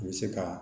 U bɛ se ka